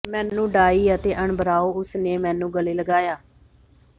ਮੈਨੂੰ ਡਾਈ ਅਤੇ ਅਣਬਰਾਓ ਉਸ ਨੇ ਮੈਨੂੰ ਗਲੇ ਲਗਾਇਆ